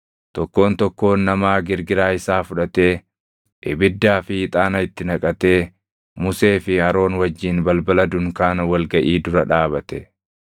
Tokkoon tokkoon namaa girgiraa isaa fudhatee, ibiddaa fi ixaana itti naqatee Musee fi Aroon wajjin balbala dunkaana wal gaʼii dura dhaabate.